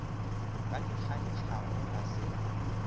ba di kgantšhago ga se